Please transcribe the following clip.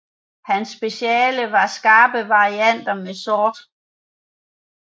Hans speciale var skarpe varianter med sort